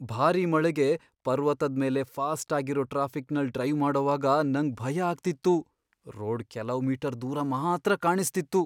ಭಾರಿ ಮಳೆಗೆ ಪರ್ವತದ್ ಮೇಲೆ ಫಾಸ್ಟ್ ಆಗಿರೋ ಟ್ರಾಫಿಕ್ನಲ್ ಡ್ರೈವ್ ಮಾಡೋವಾಗ ನಂಗ್ ಭಯ ಆಗ್ತಿತ್ತು. ರೋಡ್ ಕೆಲವ್ ಮೀಟರ್ ದೂರ ಮಾತ್ರ ಕಾಣಿಸ್ತಿಸ್ತು.